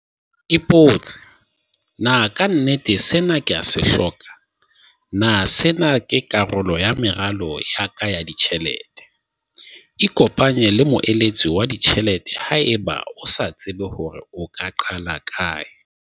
Ipotse- Na ka nnete sena ke a se hloka? Na sena ke karolo ya meralo ya ka ya ditjhelete? Ikopanye le moeletsi wa ditjhelete haeba o sa tsebe hore na o ka qala kae.